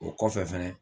O kɔfɛ fɛnɛ